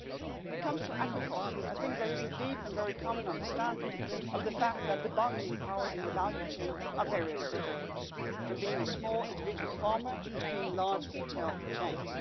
When it comes to agriculture, I think there is a deep and very common understanding of the fact that the bargaining powers in the value chain are very different, from being a small individual farmer to being large retail chains.